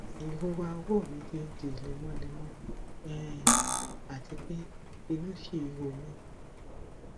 irora ọwọ mi ti n di lemọlemọ um àti pé inú ṣì ń ro mí